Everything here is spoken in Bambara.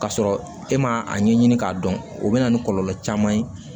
Ka sɔrɔ e ma a ɲɛɲini k'a dɔn o bɛ na ni kɔlɔlɔ caman ye